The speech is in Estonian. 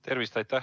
Tervist!